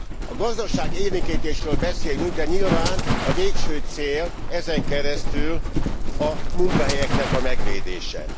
A gazdaságélénkítésről beszélünk, de nyilván a végső cél ezen keresztül a munkahelyeknek a megvédése.